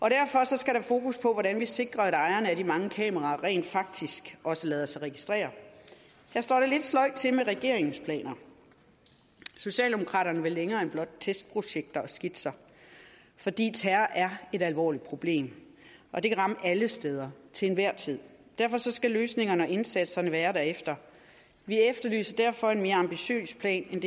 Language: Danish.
skal der fokus på hvordan vi sikrer at ejerne af de mange kameraer rent faktisk også lader sig registrere her står det lidt sløjt til med regeringens planer socialdemokraterne vil længere end blot testprojekter og skitser fordi terror er et alvorligt problem og det kan ramme alle steder til enhver tid derfor skal løsningerne og indsatserne være derefter vi efterlyser derfor en mere ambitiøs plan end